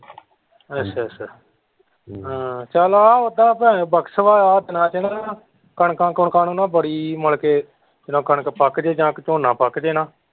ਅੱਛਾ ਅੱਛਾ ਚੱਲੋ ਉੱਦਾਂ ਭਾਵੇਂ ਬਖਸ ਵਾ ਕਣਕਾਂ ਕੁਣਕਾਂ ਨੂੰ ਨਾ ਬੜੀ ਮਤਲਬ ਕਿ ਨਾ ਜਦੋਂ ਕਣਕ ਪੱਕ ਜੇ ਨਾ ਜਾਂ ਫਿਰ ਝੋਨਾ ਪੱਕ ਜੇ ਨਾ।